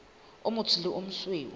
o motsho le o mosweu